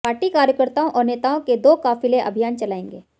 party कार्यकर्ताओं और नेताओं के दो काफिले अभियान चलाएंगे